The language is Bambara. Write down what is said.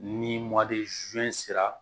Ni sera